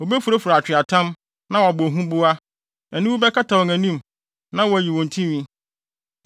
Wobefurafura atweaatam na wɔabɔ huboa. Aniwu bɛkata wɔn anim na wɔayi wɔn tinwi.